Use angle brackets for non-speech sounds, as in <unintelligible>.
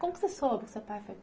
Como você soube que seu pai foi? <unintelligible>